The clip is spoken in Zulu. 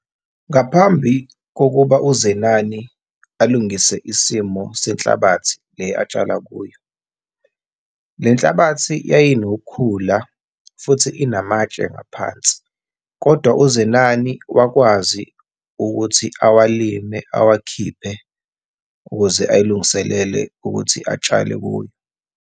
Ngaphambi kokuba uZenani alungise isimo senhlabathi le atshala kuyo, le nhlabathi yayinokukhula futhi inamatshe ngaphansi, kodwa uZenani wakwazi ukuthi awalime, awakhiphe, ukuze ayilungiselele ukuthi atshale kuyo.